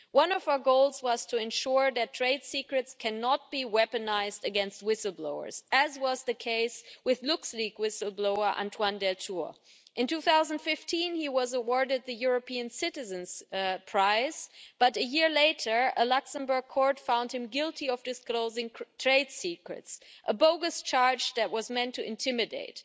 One of our goals was to ensure that trade secrets cannot be weaponised against whistle blowers, as was the case with LuxLeaks whistle blower Antoine Deltour. In 2015 he was awarded the European Citizen's Prize, but a year later a Luxembourg court found him guilty of disclosing trade secrets a bogus charge that was meant to intimidate.